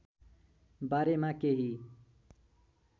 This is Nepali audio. बारेमा केही